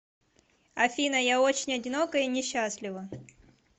афина я очень одинока и несчастлива